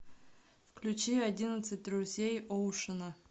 включи одиннадцать друзей оушена